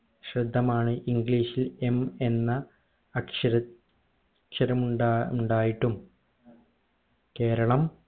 ശ്രദ്ധമാണ് english ഇൽ m എന്ന അക്ഷര അക്ഷരമുണ്ടാ മുണ്ടായിട്ടും കേരളം